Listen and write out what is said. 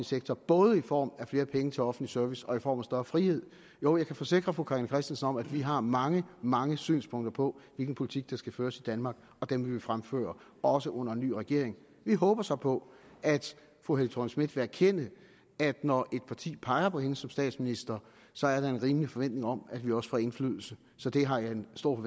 sektor både i form af flere penge til offentlig service og i form af større frihed jo jeg kan forsikre fru carina christensen om at vi har mange mange synspunkter på hvilken politik der skal føres i danmark og dem vil vi fremføre også under en ny regering vi håber så på at fru helle thorning schmidt vil erkende at når et parti peger på hende som statsminister så er der en rimelig forventning om at vi også får indflydelse så det har jeg en stor